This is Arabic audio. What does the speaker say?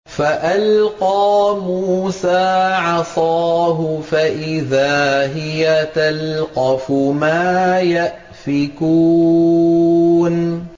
فَأَلْقَىٰ مُوسَىٰ عَصَاهُ فَإِذَا هِيَ تَلْقَفُ مَا يَأْفِكُونَ